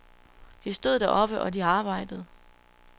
De stod deroppe, og de arbejdede.